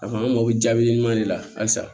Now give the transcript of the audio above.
A fɔ an mako bɛ jaabi ɲuman de la halisa